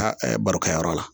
Ka barokɛyɔrɔ la